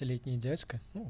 летний дядька ну